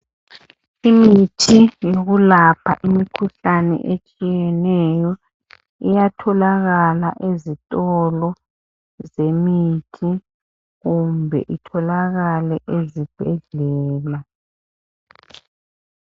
Imithi yokulapha imikhuhlane etshiyeneyo iyatholakala ezitolo zemithi kumbe itholakale ezibhedlela